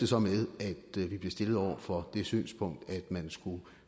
så med at vi blev stillet over for det synspunkt at man skulle